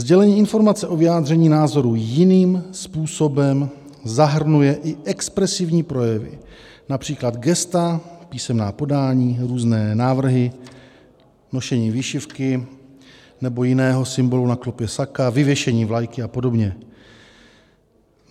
Sdělení informace o vyjádření názoru jiným způsobem zahrnuje i expresivní projevy, například gesta, písemná podání, různé návrhy, nošení výšivky nebo jiného symbolu na klopě saka, vyvěšení vlajky a podobně.